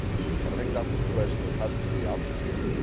I think that is the question that has to be answered here.